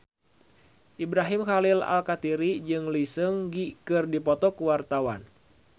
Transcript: Ibrahim Khalil Alkatiri jeung Lee Seung Gi keur dipoto ku wartawan